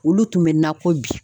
Olu tun bɛ nakɔ bi.